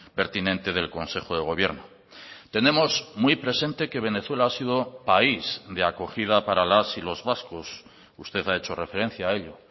pertinente del consejo de gobierno tenemos muy presente que venezuela ha sido país de acogida para las y los vascos usted ha hecho referencia a ello